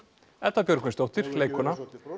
Edda Björgvinsdóttir leikkona